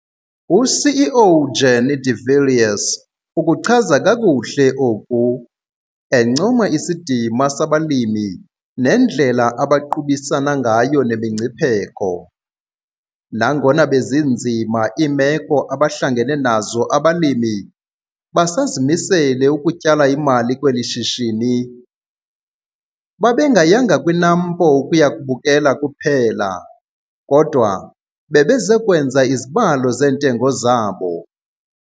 U-CEO Jannie de Villiers ukuchaza kakuhle oku, encoma isidima sabalimi nendlela abaqubisana ngayo nemingcipheko. 'Nangona bezinzima iimeko abahlangene nazo abalimi, basazimisele ukutyala-mali kweli shishini. Babengayanga kwiNAMPO ukuya kubukela kuphela, kodwa bebeze kwenza izibalo zeentengo zabo.